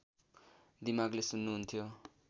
दिमागले सुन्नुहुन्थ्यो